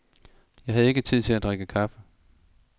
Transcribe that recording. Jeg havde ikke tid til at drikke kaffe.